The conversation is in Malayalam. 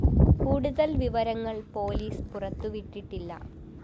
കൂടുതല്‍ വിവരങ്ങള്‍ പോലീസ് പുറത്തുവിട്ടിട്ടില്ല